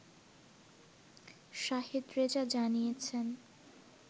শাহেদ রেজা জানিয়েছেন